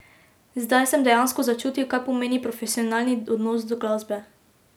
Zdaj sem dejansko začutil, kaj pomeni profesionalni odnos do glasbe.